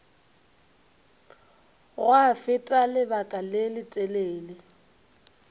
gwa feta lebaka le letelele